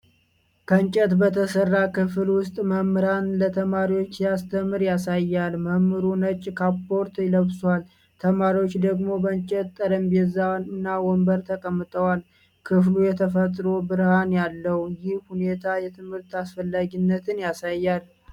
ከእንጨት በተሠራ ክፍል ውስጥ መምህር ለተማሪዎች ሲያስተምር ያሳያል። መምህሩ ነጭ ካፖርት ለብሷል፤ ተማሪዎቹ ደግሞ በእንጨት ጠረጴዛና ወንበር ተቀምጠዋል። ክፍሉ የተፈጥሮ ብርሃን አለው። ይህ ሁኔታ የትምህርትን አስፈላጊነት ያሳያልን?